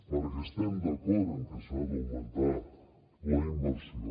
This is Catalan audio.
perquè estem d’acord en que s’ha d’augmentar la inversió